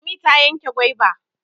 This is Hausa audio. Lami ta yanke gwaiba.